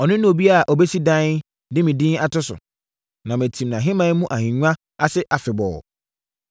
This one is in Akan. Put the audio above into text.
Ɔno ne obi a ɔbɛsi dan de me din ato so. Na matim nʼahemman mu ahennwa ase afebɔɔ.